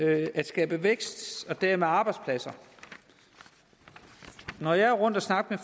at skabe vækst og dermed arbejdspladser når jeg er rundt at snakke